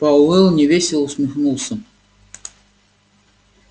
пауэлл невесело усмехнулся